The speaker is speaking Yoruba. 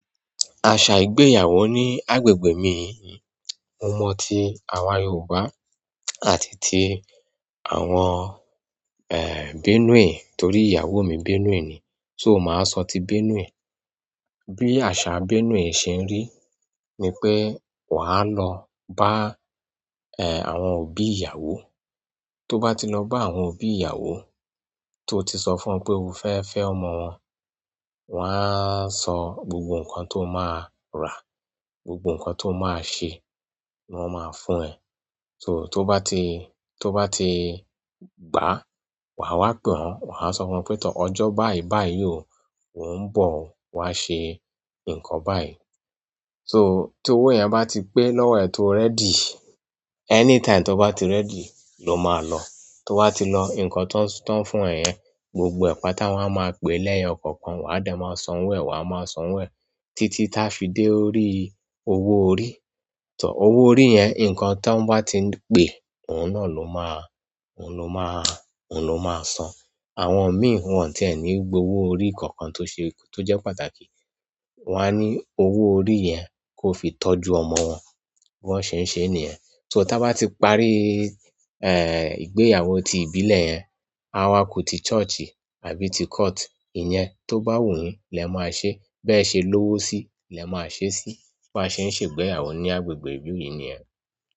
Àṣà ìgbéyàwó ní agbègbè mi, mo mọ ti àwa Yorùbá àti ti àwọn, eh, Benue torí ìyàwó mi Benue ni, so màá sọ ti Benue. Bí àṣà Benue ṣe ń rí ni pé wà á lọ bá, eh, àwọn òbí ìyàwó. To ba tí lọ bá àwọn òbí ìyàwó to ti sọ fún wọn pé o fẹfẹ ọmọ wọn, wọn a sọ gbogbo nkan tó máa ra gbogbo nkán tó máa ṣe wọn maa fún ẹ so tó bá ti, tó bá ti gbá, wà wa pe wọ́n, wà á sọ fún wọn pé, "Tọ́ ọjọ́ báyi báyi o, mò ń bọ̀ wá ṣe nǹkan báyi." So tí owó yẹn bá ti pé lọ́wọ́ ẹ tó ready, anytime tó bá ti ready ló máa lọ. Tó wá ti lọ, nǹkan tó ń fún ẹ yẹn, gbogbo ẹ̀pà táwọn máa pè lẹ́yọ kọ̀ọ̀kan, wà á dẹ̀ máa san wo ẹ, wà á máa san wo ẹ títí tá fi dé orí owó orí. Tọ́ owó orí yẹn nǹkan tó ń bá ti pé, òun náà ló máa, òun ló máa, òun ló máa san. Àwọn mi irú wọn tí ẹ ní gbé owó orí kọ̀ọ̀kan tó ṣe, tó jẹ́ pàtàkì. Wà á ní owó orí yẹn kó fi tọ́jú ọmọ wọn bí wọ́n ṣe ń ṣe ènìyàn. So tí wọ́n bá ti parí, eh, ìgbéyàwó ti ìbílẹ̀ yẹn, awa kù ti church àbí ti court, ìyẹn tó bá wù yín lẹ máa ṣe. Bẹ ṣe lówó sí lẹ má ṣe si. Bi wọn ṣe ń ṣe ìgbéyàwó ní agbègbè ìlú yi nìyẹn.